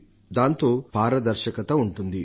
తత్ఫలితంగా పారదర్శకత చోటు చేసుకొంటుంది